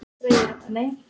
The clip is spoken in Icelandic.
Þær eiga rétt að taka lit.